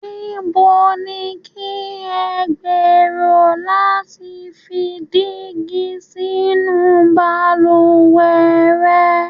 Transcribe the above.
Níbo ni kí ẹ gberò lati fi dígi sínu baluwẹ̀ rẹ̀?